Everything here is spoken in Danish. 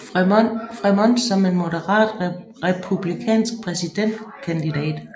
Frémont som en moderat Republikansk præsidentkandidat